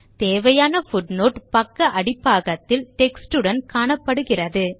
தேவையான பூட்னோட் பக்க அடிபாகத்தில் டெக்ஸ்ட் உடன் காணப்படுகின்றது